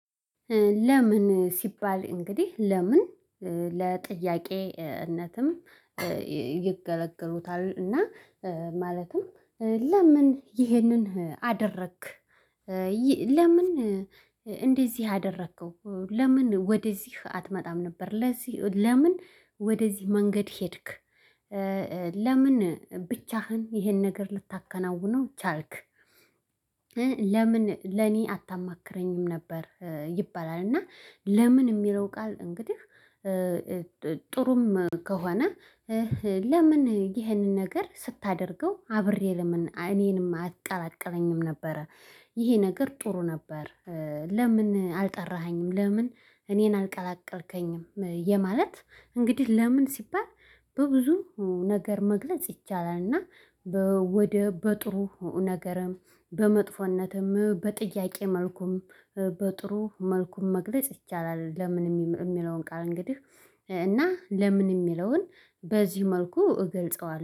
ለምን ሲባል እንግዲህ ለምን ለጥያቄነትም ይገለግሉታል። እና ማለትም ለምን ይሄንን አደረግክ? ለምን እንደዚህ አደረከው? ለምን ወደዚህ አትመጣም ነበር? ለዚህ ለምን ወደዚህ መንገድ ሄድክ? ለምን ብቻህን ይሄን ነገር ልታከናውነው ቻልክ? ለምን ለኔ አታማክረኝም ነበር ይባላል። እና ለምን የሚለው ቃል እንግዲህ። ጥሩም ከሆነ ለምን ይህንን ነገር ስታደርገው አብሬ ለምን እኔንም አቀላቀለኝም ነበረ። ይሄ ነገር ጥሩ ነበር። ለምን አልጠራኸኝም ለምን እኔን አልቀላቀልከኝም የማለት እንግዲህ ለምን ሲባል በብዙ ነገር መግለጽ ይቻላል። እና ወደ በጥሩ ነገር በመጥፎነትም በጥያቄ መልኩም በጥሩ መልኩም መግለጽ ይቻላል። ለምን የሚለውን ቃል እንግዲህ እና ለምን የሚለውን በዚህ መልኩ እገልጸዋለሁ